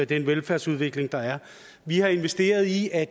den velfærdsudvikling der er vi har investeret i at